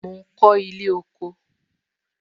Mo ń kọ ilé kóko